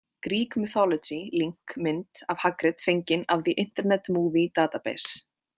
Greek Mythology Link Mynd af Hagrid fengin af The Internet Movie Database